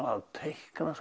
að teikna